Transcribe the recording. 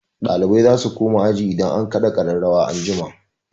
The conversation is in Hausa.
Ɗalibai za su koma aji idan an kaɗa ƙararrawa an jima.